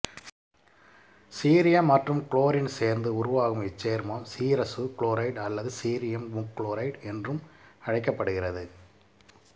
cerium மற்றும் chlorine சேர்ந்து உருவாகும் இச்சேர்மம் சீரசு குளோரைடு அல்லது சீரியம் முக்குளோரைடு என்றும் அழைக்கப்படுகிறது